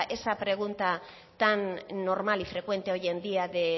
esa pregunta tan normal y frecuente hoy en día de